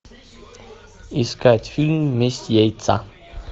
искать фильм месть яйца